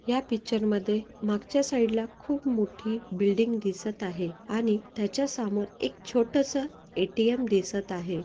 या पिक्चर मध्ये मागच्या साइड ला खूप मोठी बिल्डिंग दिसत आहे आणि त्याच्या समोर एक छोटसं ए.टी.एम. दिसत आहे.